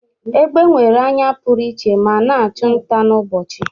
Egbe nwere anya pụrụiche ma na-achụ nta n'ụbọchị.